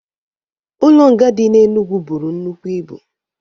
Ụlo nga di na Enugwụ bụrụ nnụkwụ ịbu